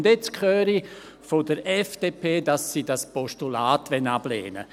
Und jetzt höre ich von der FDP, dass sie dieses Postulat ablehnen will.